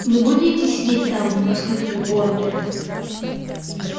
вы будете сидеть там воскликнул богерт